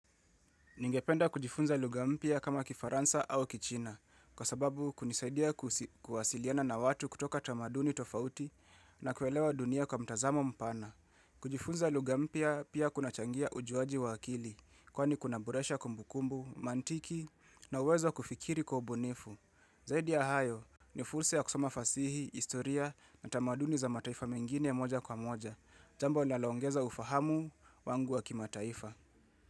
Ningependa kujifunza lugha mpya kama kifaransa au kichina, kwa sababu kunisaidia kuwasiliana na watu kutoka tamaduni tofauti na kuelewa dunia kwa mtazamo mpana. Kujifunza lugha mpya pia kunachangia ujuaji wa akili, kwani kunaboresha kumbukumbu, mantiki na uwezo wa kufikiri kwa ubunifu. Zaidi ya hayo ni fursa ya kusoma fasihi, istoria na tamaduni za mataifa mengine moja kwa moja, jambo linaloongeza ufahamu wangu wangu wa kimataifa.